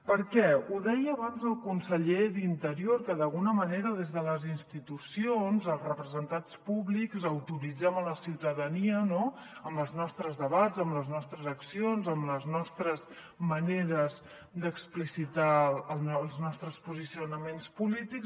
per què ho deia abans el conseller d’interior que d’alguna manera des de les institucions els representats públics autoritzem la ciutadania amb els nostres debats amb les nostres accions amb les nostres maneres d’explicitar els nostres posicionaments polítics